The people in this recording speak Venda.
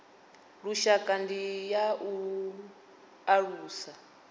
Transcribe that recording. lushaka ndi ya u alusa